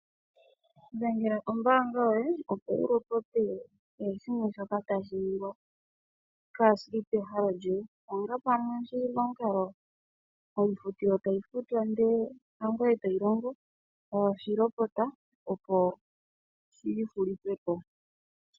Dhengela ombaanga yoye opo wu lopote kehe shimwe shoka tashi ningwa kaashili pehalo lyoye onga pamwe oshili momukalo payifutilo yo tayi futwa ndee hangweye toyi longo yo tayi lopota opo shi hulithwepo.